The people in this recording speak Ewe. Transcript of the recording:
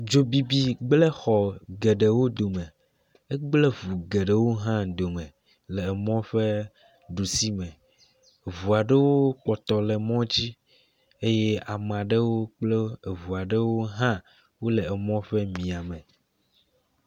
Dzobibi gblẽ xɔ geɖewo dome. Egblẽ ŋu geɖewo hã dome le emɔ ƒe ɖusi me. Ŋua ɖewo kpɔtɔ le mɔ dzi eye amea ɖewo kple ŋua ɖewo hã wole mɔa ƒe miame.